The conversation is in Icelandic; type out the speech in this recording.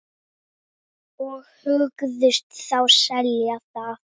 Og hugðust þá selja það.